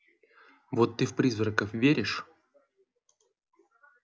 вот ты в призраков веришь